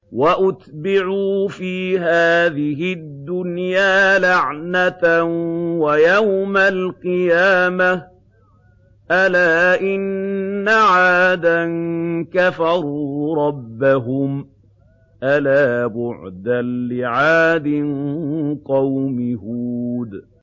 وَأُتْبِعُوا فِي هَٰذِهِ الدُّنْيَا لَعْنَةً وَيَوْمَ الْقِيَامَةِ ۗ أَلَا إِنَّ عَادًا كَفَرُوا رَبَّهُمْ ۗ أَلَا بُعْدًا لِّعَادٍ قَوْمِ هُودٍ